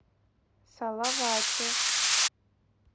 салавате